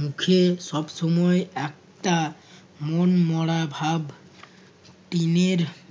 মুখে সব সময় একটা মন মরা ভাব টিনের